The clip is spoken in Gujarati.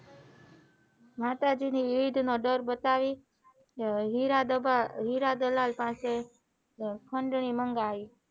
માતાજી નોહિડ ડર બતાવી હીરા દલાલ પાસે ખંડણી મંગાવી